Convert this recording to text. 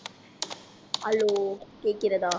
hello கேட்கிறதா